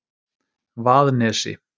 Vaðnesi